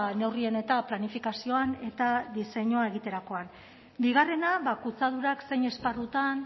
neurrien eta planifikazioan eta diseinua egiterakoan bigarrena kutsadurak zein esparrutan